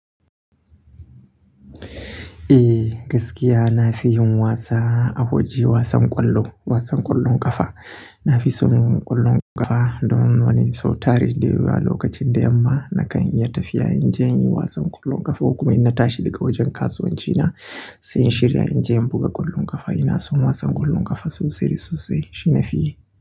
Eh gaskiya na fi yin wasa a waje wasan ƙwallo, wasan ƙwallon ƙafa. Na fi son ƙwallon ƙafa dan wani sau tare da Yawa lokacin da yamma nakan iya tafiya in je in yi wasan ƙwallon ƙafa. Kuma in na tashi daga wajen kasuwanci na sai in shirya in je in buga ƙwallon ƙafa. Ina son wasan ƙwallon ƙafa sosai sosai, shi na fi yi.